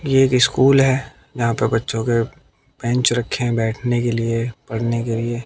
ये एक स्कूल है यहां पर बच्चों के बेंच रखे है बैठने के लिए पढ़ने के लिए।